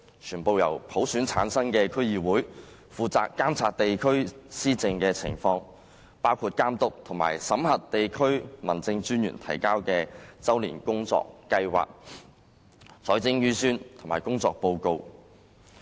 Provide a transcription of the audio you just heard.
全部由普選產生的區議會負責監察地區施政的情況，包括監督及審核地區民政專員提交的周年工作計劃、財政預算及工作報告。